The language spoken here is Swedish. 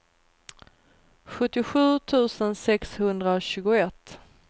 sjuttiosju tusen sexhundratjugoett